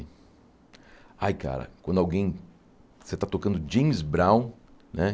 Ai cara, quando alguém... você está tocando James Brown, né?